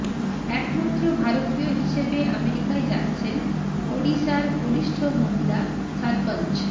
একমাত্র ভারতীয় হিসেবে আমেরিকায় যাচ্ছেন ওডিশার কনিষ্ঠ মহিলা সারপঞ্চ